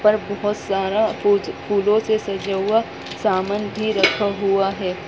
ऊपर बोहोत सारा पोज फुल्लो से सजा हुआ सामान भी रखा हुआ है।